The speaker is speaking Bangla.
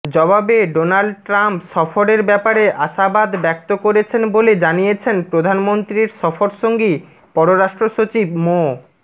জবাবে ডোনাল্ড ট্রাম্প সফরের ব্যাপারে আশাবাদ ব্যক্ত করেছেন বলে জানিয়েছেন প্রধানমন্ত্রীর সফরসঙ্গী পররাষ্ট্র সচিব মো